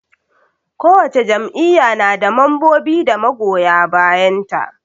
Kowace jam'iyya na da mambobi da magoya bayan ta.